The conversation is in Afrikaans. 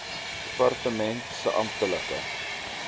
departement se amptelike